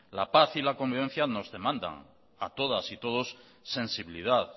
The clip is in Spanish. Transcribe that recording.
la paz y la convivencia nos demanda a todas y todos sensibilidad